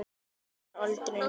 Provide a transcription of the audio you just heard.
Þau eignast aldrei neitt.